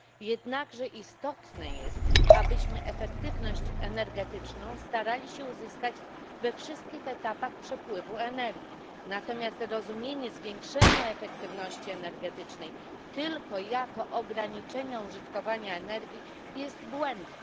Jednakże istotne jest, abyśmy efektywność energetyczną starali się uzyskać we wszystkich etapach przepływu energii, natomiast rozumienie zwiększenia efektywności energetycznej tylko jako ograniczenia użytkowania energii jest błędne.